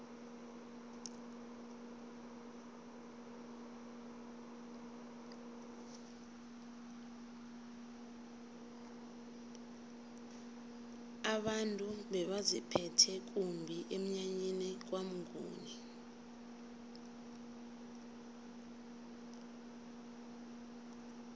abantu bebaziphethe kumbi emnyanyeni kwamnguni